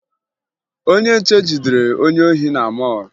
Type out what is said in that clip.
Onye nche jidere onye ohi na mọọlụ